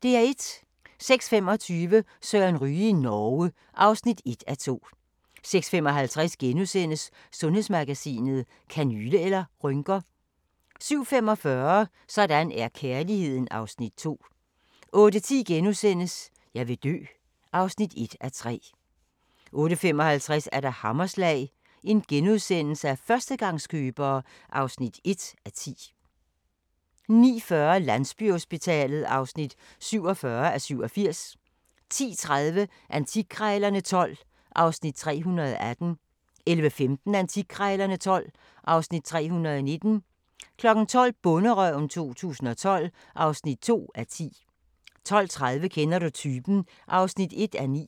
06:25: Søren Ryge i Norge (1:2) 06:55: Sundhedsmagasinet: Kanyle eller rynker? * 07:45: Sådan er kærligheden (Afs. 2) 08:10: Jeg vil dø (1:3)* 08:55: Hammerslag – førstegangskøbere (1:10)* 09:40: Landsbyhospitalet (47:87) 10:30: Antikkrejlerne XII (Afs. 318) 11:15: Antikkrejlerne XII (Afs. 319) 12:00: Bonderøven 2015 (2:10) 12:30: Kender du typen? (1:9)